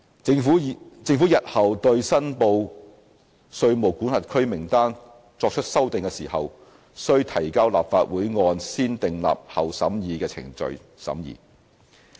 政府日後對申報稅務管轄區名單作出修訂時，須提交立法會按"先訂立後審議"的程序審議。